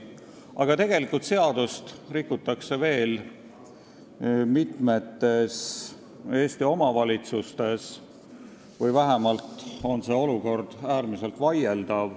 Aga tegelikult rikutakse seadust veel mitmes Eesti omavalitsuses või vähemalt on see olukord äärmiselt vaieldav.